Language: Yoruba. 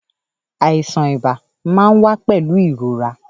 Àìsàn ibà máa ń wá pẹ̀lú ìrora